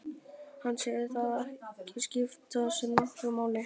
Hann segir það ekki skipta sér nokkru máli.